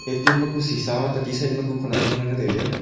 A_T_M ma ku sisa ma techi side ma ku khonak hamnu nganley tailey.